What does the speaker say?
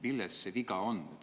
Milles viga on?